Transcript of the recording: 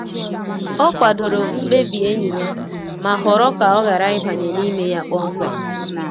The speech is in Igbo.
Ọ kwadoro mkpebi enyi ya, ma họrọ ka ọ ghara ịbanye n’ime ya kpọmkwem.